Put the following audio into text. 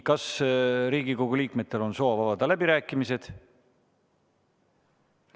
Kas Riigikogu liikmetel on soov avada läbirääkimised?